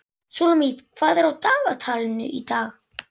Súlamít, hvað er á dagatalinu í dag?